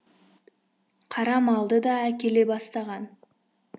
қара малды да әкеле бастаған